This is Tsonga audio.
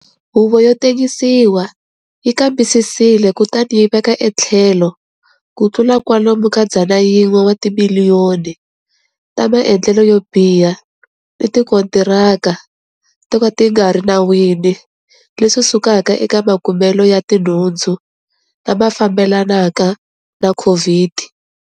Huvo yo tengisiwa yi kambisisile kutani yi veka etlhelo ku tlula kwalomu ka R100 wa timiliyoni ta maendlelo yo biha ni tikontiraka to ka ti nga ri enawini leswi sukaka eka makumelo ya tinhundzu lama fambelanaka na COVID.